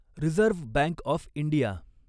reserve Bank of India